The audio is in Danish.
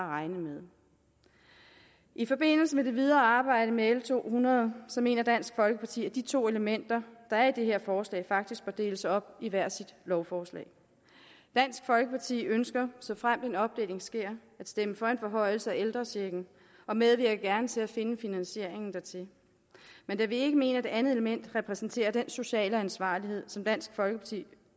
regne med i forbindelse med det videre arbejde med l to hundrede mener dansk folkeparti at de to elementer der er i det her forslag faktisk bør deles op i hver sit lovforslag dansk folkeparti ønsker såfremt en opdeling sker at stemme for en forhøjelse af ældrechecken og medvirker gerne til at finde finansieringen dertil men da vi ikke mener at det andet element repræsenterer den sociale ansvarlighed som dansk folkeparti